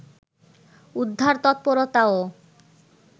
উদ্ধার তৎপরতাও